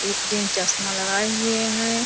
एक जेंट्स चश्मा लगाये हुए हैं।